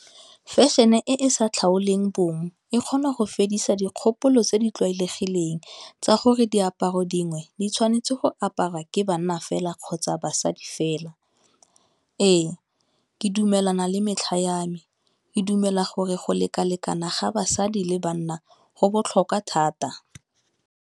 Fashion-e e e sa tlhaoleng bong e kgona go fedisa dikgopolo tse di tlwaelegileng tsa gore diaparo dingwe di tshwanetse go aparwa ke banna fela kgotsa basadi fela. Ee, ke dumelana le metlha ya me, ke dumela gore go lekalekana ga basadi le banna go botlhokwa thata.